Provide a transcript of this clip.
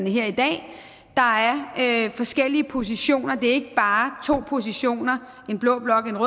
her i dag at der er forskellige positioner det ikke bare to positioner en blå blok og